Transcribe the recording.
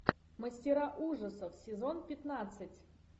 мастера ужасов сезон пятнадцать